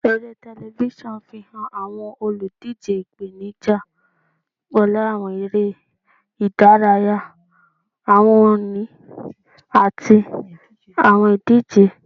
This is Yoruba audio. Ere tẹlifisiọnu fihan awọn oludije ipenija pẹlu awọn ere-idaraya, awọn ohun-ini, ati awọn idije.